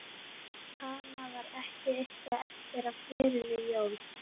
Hana. var ekki eitthvað eftir á glerinu Jón?